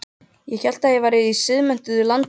Ég hélt ég væri í siðmenntuðu landi.